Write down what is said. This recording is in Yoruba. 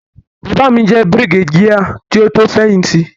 Bàbá mi jẹ́ Brigadier kí ó tó fẹ̀yìn tì.